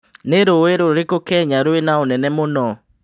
nĩ rũi rũrikũ Kenya rwĩ na ũnene mũno